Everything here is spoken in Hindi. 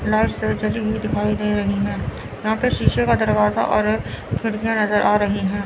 लाइट सब जली हुई दिखाई दे रही है यहां पर शीशे का दरवाजा और खिड़कियां नजर आ रही है।